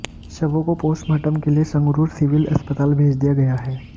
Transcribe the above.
शवों को पोस्टमार्टम के लिए संगरूर सिविल अस्पताल भेज दिया गया है